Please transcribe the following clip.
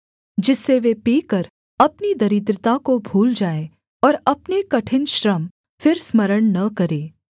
जिससे वे पीकर अपनी दरिद्रता को भूल जाएँ और अपने कठिन श्रम फिर स्मरण न करें